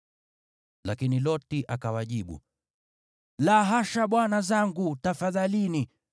Lakini Loti akawajibu, “La hasha, bwana zangu, tafadhalini!